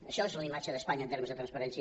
això és la imatge d’espanya en termes de transparència